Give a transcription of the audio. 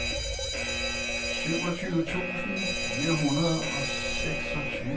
syvogtyve tusind fire hundrede og seksogtyve